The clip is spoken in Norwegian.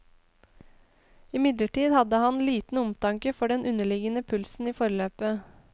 Imidlertid hadde han liten omtanke for den underliggende pulsen i forløpet.